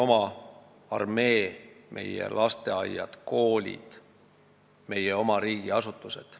Võtame meie oma armee, lasteaiad ja koolid, meie oma riigiasutused.